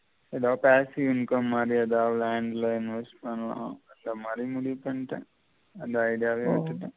எதாவது passive income மாதி எதாவது land ல investment பண்லாம் அந்த மாதி முடிவுபண்டன் அந்த idea வ விட்டுட்டேன்